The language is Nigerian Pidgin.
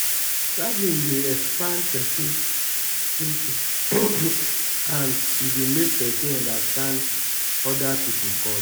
traveling dey expand person thinking and e dey make person understand oda pipo culture